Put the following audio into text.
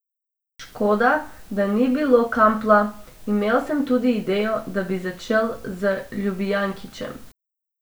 Škoda, da ni bilo Kampla, imel sem tudi idejo, da bi začel z Ljubijankićem.